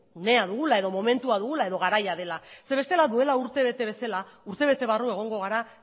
unea dugula edo momentua dugula edo garaia dela zeren eta bestela duela urtebete bezala urtebete barru egongo gara